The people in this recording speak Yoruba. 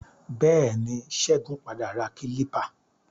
Bẹẹni, Ṣégun padà ra kílípà.